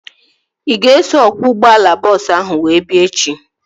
Ị ga-eso ọkwọ ụgbọala bọọsu ahu wee bịa echi?